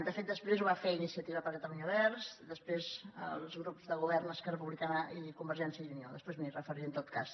de fet després ho va fer iniciativa per catalunya verds després els grups de govern esquerra republicana i convergència i unió després m’hi referiré en tot cas